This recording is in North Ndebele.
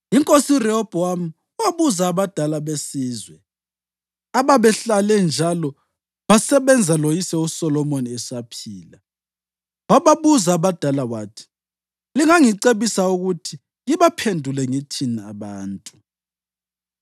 INkosi uRehobhowami wabuza abadala besizwe ababehlale njalo basebenza loyise uSolomoni esaphila. Wababuza abadala wathi: “Lingangicebisa ukuthi ngibaphendule ngithini lababantu?”